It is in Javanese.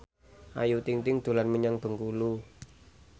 Ayu Ting ting dolan menyang Bengkulu